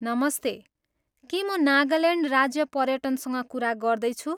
नमस्ते! के म नागाल्यान्ड राज्य पर्यटनसँग कुरा गर्दैछु?